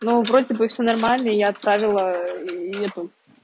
ну вроде бы всё нормально и я отправила и нет